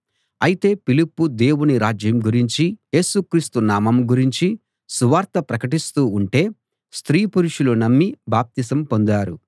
అయితే ఫిలిప్పు దేవుని రాజ్యం గురించీ యేసు క్రీస్తు నామం గురించీ సువార్త ప్రకటిస్తూ ఉంటే స్త్రీ పురుషులు నమ్మి బాప్తిసం పొందారు